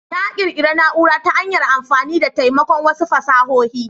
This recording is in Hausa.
Na ƙirƙira na'ura ta hanyar amfani da taimakon wasu fasahohi.